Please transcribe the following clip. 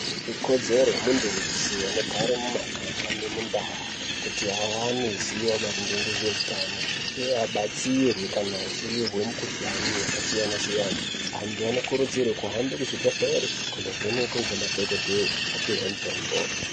Ikodzero yemuntu weshe anogara mumuganga nemundau kuti awane zivio maringe nezveutano uye abatsirwe kana achinzwe mukuhlani yakasiyana siyana antu anokurudzirwa kuhambe kuzvibhedhlera kuno vhenekwa ne madhokodheya kunopiwa mitombo.